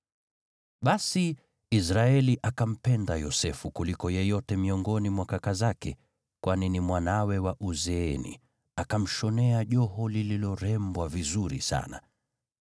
Basi, Israeli akampenda Yosefu kuliko yeyote miongoni mwa kaka zake, kwani ni mwanawe wa uzeeni, akamshonea joho lililorembwa vizuri sana.